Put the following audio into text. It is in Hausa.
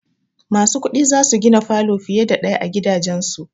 Masu kuɗi za su gina falo fiye da ɗaya a gidajansu.